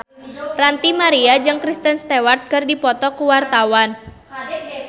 Ranty Maria jeung Kristen Stewart keur dipoto ku wartawan